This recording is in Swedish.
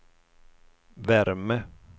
värme